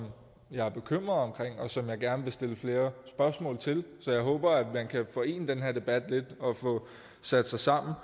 jeg er bekymret for og som jeg gerne vil stille flere spørgsmål til så jeg håber at man kan forene den her debat lidt og få sat sig sammen